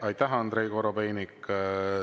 Aitäh, Andrei Korobeinik!